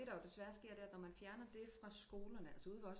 Og det der jo desværre sker det er at når man fjerner det fra skolerne altså ude ved os